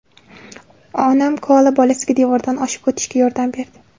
ona koala bolasiga devordan oshib o‘tishga yordam berdi.